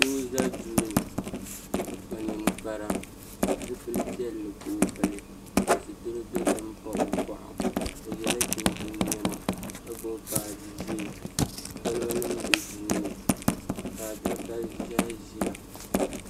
Doo n ʒɛ Duu ni ka kpa ninkpara zipili piɛlli ka o pili ka sitiri dozim baɣa o boɣu o yɛla chinchin niɛma ka gbubi baaji ʒiɛ kolba nim bɛ duu ni ka adaka ʒiɛhi ʒiya